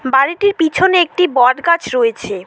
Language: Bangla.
বাড়িটির পিছনে একটি বটগাছ রয়েছে।